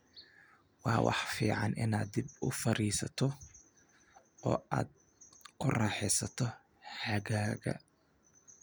"Waa wax fiican inaad dib u fariisato oo aad ku raaxaysato xagaaga."